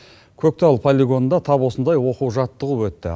көктал полигонында тап осындай оқу жаттығу өтті